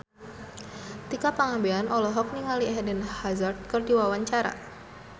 Tika Pangabean olohok ningali Eden Hazard keur diwawancara